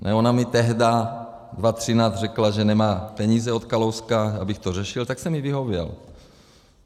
Ona mi tehdy v 2013 řekla, že nemá peníze od Kalouska, abych to řešil, tak jsem jí vyhověl.